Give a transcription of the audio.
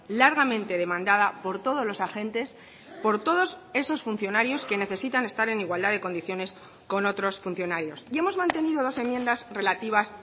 largamente demandada por todos los agentes por todos esos funcionarios que necesitan estar en igualdad de condiciones con otros funcionarios y hemos mantenido dos enmiendas relativas